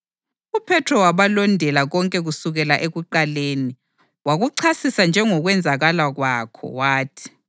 UPhethro wabalondela konke kusukela ekuqaleni, wakuchasisa njengokwenzakala kwakho, wathi,